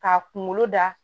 K'a kunkolo da